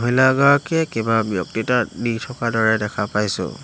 লগাকে কিবা ব্যক্তিতা দি থকা দৰে দেখা পাইছোঁ।